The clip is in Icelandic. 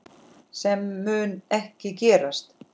Sem mun ekki gerast.